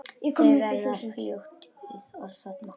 Þau verða fljót að þorna.